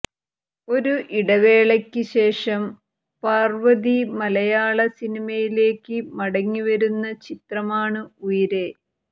ഒരു ഇടവേളയ്ക്ക് ശേഷം പർവതി മലയാള സിനിമയിലേയ്ക്ക് മടങ്ങി വരുന്ന ചിത്രമാണ് ഉയരെ